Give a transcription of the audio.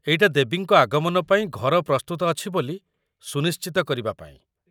ଏଇଟା ଦେବୀଙ୍କ ଆଗମନ ପାଇଁ ଘର ପ୍ରସ୍ତୁତ ଅଛି ବୋଲି ସୁନିଶ୍ଚିତ କରିବା ପାଇଁ ।